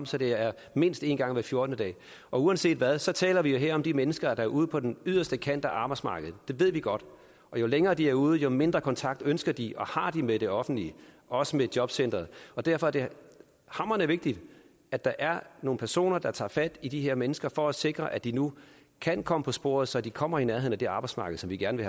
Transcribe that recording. så det er mindst en gang hver fjortende dag uanset hvad så taler vi her om de mennesker der er ude på den yderste kant af arbejdsmarkedet det ved vi godt og jo længere de er ude jo mindre kontakt ønsker de og har de med det offentlige også med jobcenteret derfor er det hamrende vigtigt at der er nogle personer der tager fat i de her mennesker for at sikre at de nu kan komme på sporet så de kommer i nærheden af det arbejdsmarked som vi gerne